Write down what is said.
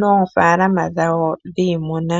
noofaalama dhawo dhiimuna.